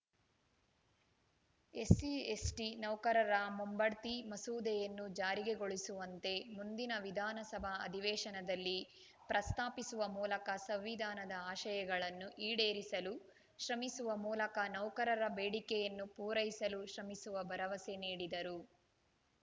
ಎಸ್ಸಿಎಸ್ಟಿನೌಕರರ ಮುಂಬಡ್ತಿ ಮಸೂದೆಯನ್ನು ಜಾರಿಗೆ ಗೊಳಿಸುವಂತೆ ಮುಂದಿನ ವಿಧಾನಸಭಾ ಅಧಿವೇಶನದಲ್ಲಿ ಪ್ರಸ್ತಾಪಿಸುವ ಮೂಲಕ ಸಂವಿಧಾನದ ಆಶಯಗಳನ್ನು ಈಡೇರಿಸಲು ಶ್ರಮಿಸುವ ಮೂಲಕ ನೌಕರರ ಬೇಡಿಕೆಯನ್ನು ಪೂರೈಸಲು ಶ್ರಮಿಸುವ ಭರವಸೆ ನೀಡಿದರು